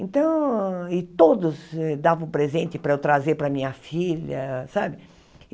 Então... e todos davam presente para eu trazer para a minha filha, sabe?